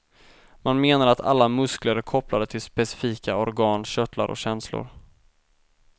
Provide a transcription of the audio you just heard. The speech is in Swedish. Man menar att alla muskler är kopplade till specifika organ, körtlar och känslor.